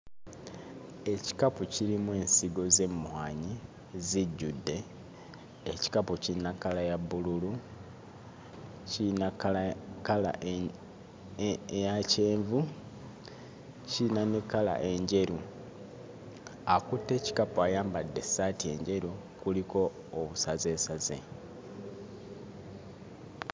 Ekikapu kirimu ensigo z'emmwanyi zijjudde. Ekikapu kirina kkala ya bbululu, kiyina kkala ya kkala enji e eya kyenvu, kiyina ne kkala enjeru. Akutte ekikapu ayambadde essaati enjeru kuliko obusazeesaze.